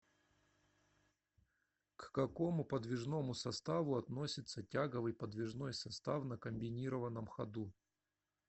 к какому подвижному составу относится тяговый подвижной состав на комбинированном ходу